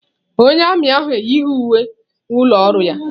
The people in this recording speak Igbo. Onye armiị ahụ eyighị uwe ụlọ ọrụ ya.